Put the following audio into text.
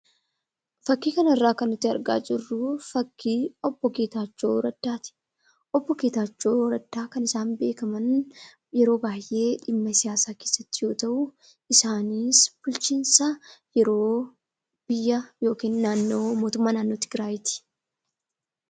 Fakkii kanarraa kan nuti argaa jirru obbo Getachoo Raddaati. Obbo Getachoo Raddaa kan isaan beekaman yeroo baay'ee dhimma siyaasaa keessattiidga. isaanis yeroo amma bulchiinsa yeroo mootummaa naannoo tigraayiiti.